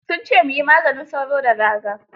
Sun ce mu yi maganin sauro da raga.